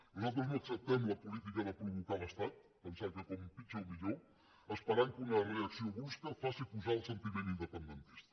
nosaltres no acceptem la política de provocar l’estat pensar que com pitjor millor esperant que una reacció brusca faci pujar el sentiment independentista